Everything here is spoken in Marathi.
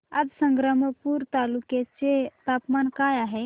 आज संग्रामपूर तालुक्या चे तापमान काय आहे